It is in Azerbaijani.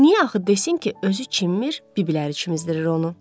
Niyə axı desin ki, özü çinmir, bibləri çimizdirir onu.